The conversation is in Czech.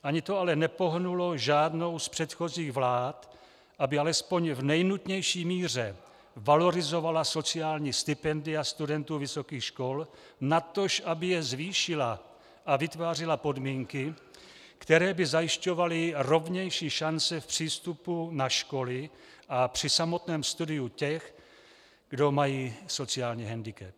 Ani to ale nepohnulo žádnou z předchozích vlád, aby alespoň v nejnutnější míře valorizovala sociální stipendia studentů vysokých škol, natož aby je zvýšila a vytvářela podmínky, které by zajišťovaly rovnější šance v přístupu na školy a při samotném studiu těch, kdo mají sociální hendikep.